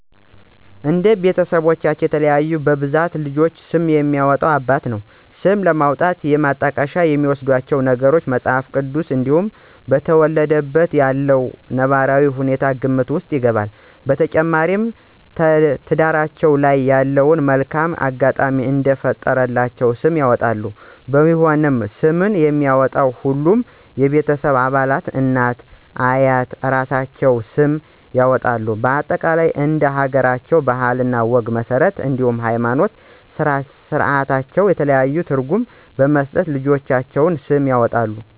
እንደ ቤተስቦቻቸው ይለያያል በብዛት ለልጅ ስም የሚያወጣ አባት ነው። ስም ለማውጣት የማጣቀሻ የሚወስዱት ነገሮች:- መጽሐፍ ቅዱስ እንዲሁም በተወለደችበት ያለውን ነባራዊ ሁኔታ ግምት ውስጥ ያስገባሉ። በተጨማሪ በትዳራቸው ላይ ያለውን መልካም አጋጣሚ እንዲፈጥርላቸው ስም ያወጣሉ። ቢሆንም ስምን የሚያወጣው ሁሉም የቤተሰብ አባላት እናት፤ አያት እራሳቸውም ስም ያወጣሉ በአጠቃላይ እንደ ሀገራችን ባህል እና ወግ መስረት እንደ ሀይማኖታዊ ስራታችን የተለያዩ ትርጉም በመስጠት ለልጆች ስም ይወጣል